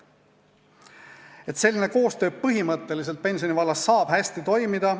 Põhimõtteliselt saab selline koostöö pensioni vallas hästi toimida.